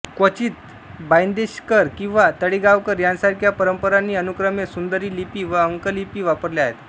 क्वचित बाइंदेशकर किंवा तळेगावकर यांसारख्या परंपरांनी अनुक्रमे सुंदरी लिपी व अंकलिपी वापरल्या आहेत